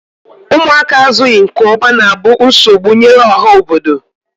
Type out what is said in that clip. ụmụaka azụghị nke ọma na-abụ nsogbu nyere ọha obodo.